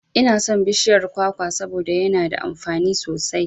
Inason bishiyar kwakwa saboda yana da amfani sosai